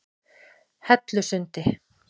Hellusundi